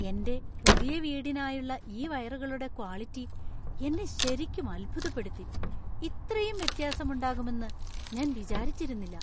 എന്‍റെ പുതിയ വീടിനായുള്ള ഈ വയറുകളുടെ ക്വാളിറ്റി എന്നെ ശരിക്കും അത്ഭുതപ്പെടുത്തി . ഇത്രയും വ്യത്യാസം ഉണ്ടാകുമെന്ന് ഞാൻ വിചാരിച്ചിരുന്നില്ല!